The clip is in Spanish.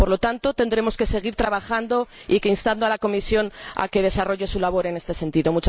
Por lo tanto, tendremos que seguir trabajando e instando a la Comisión a que desarrolle su labor en este sentido.